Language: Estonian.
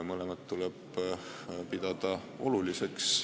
Mõlemat tuleb pidada oluliseks.